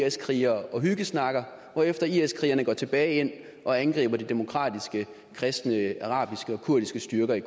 is krigere og hyggesnakker hvorefter is krigerne går tilbage igen og angriber de demokratiske kristne arabiske og kurdiske styrker i